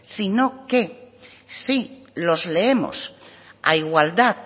sino que si los leemos a igualdad